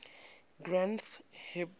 granth hib